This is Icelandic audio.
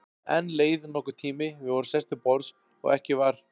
Enn leið nokkur tími, við vorum sest til borðs og ekki var